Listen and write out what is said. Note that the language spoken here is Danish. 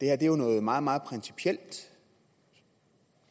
er jo noget meget meget principielt